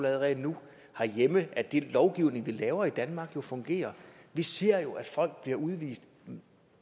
allerede nu herhjemme at den lovgivning vi laver i danmark fungerer vi ser jo at folk bliver udvist